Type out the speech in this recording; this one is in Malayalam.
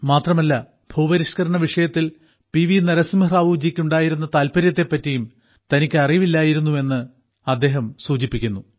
മാത്രമല്ല ഭൂപരിഷ്ക്കരണ വിഷയത്തിൽ പി വി നരസിംഹറാവുജിക്ക് ഉണ്ടായിരുന്ന താല്പര്യത്തെ പറ്റിയും തനിക്ക് അറിയില്ലായിരുന്നു എന്ന് അദ്ദേഹം സൂചിപ്പിച്ചു